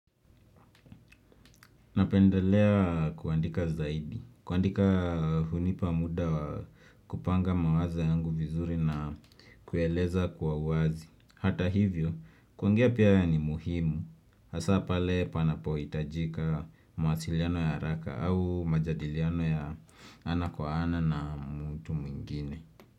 Napendelea kuandika zaidi, kuandika hunipa muda kupanga mawazo yangu vizuri na kueleza kwa uwazi. Hata hivyo, kuongea pia ni muhimu, hasa pale panapohitajika mawasiliano ya haraka au majadiliano ya ana kwa ana na mtu mwingine.